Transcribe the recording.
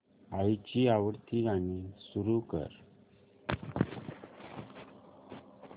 आईची आवडती गाणी सुरू कर